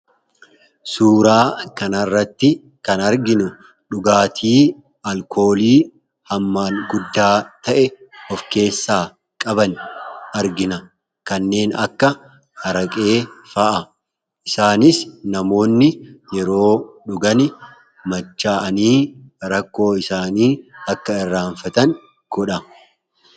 Suuraa kanarratti kan arginu dhugaatii alkoolii hammaan guddaa ta'e of keessaa qaban argina. Kanneen akka Araqee fa'a. Isaanis namoonni yeroo dhugan machaa'anii rakkoo isaanii akka irraanfatan godha.